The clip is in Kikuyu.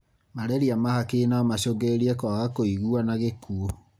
Malaria ma hakiri no macungĩrĩrie kwaga kũigua na gĩkuo.